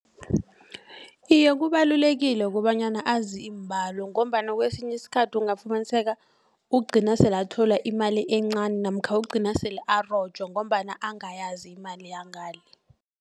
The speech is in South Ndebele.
Iye kubalulekile kobanyana azi iimbalo ngombana kwesinye isikhathi ungafumaniseka ugcina sele athola imali encani namkha ugcina sele arojwa ngombana angayazi imali yangale.